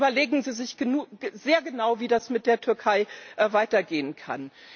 Also überlegen Sie sich sehr genau, wie das mit der Türkei weitergehen kann.